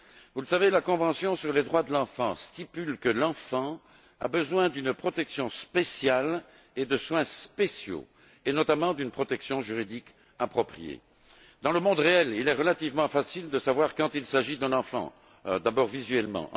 Vous le savez, la Convention sur les droits de l'enfant stipule que l'enfant a besoin d'une protection spéciale, de soins spéciaux et notamment d'une protection juridique appropriée. Dans le monde réel, il est relativement facile de savoir quand il s'agit d'un enfant, d'abord visuellement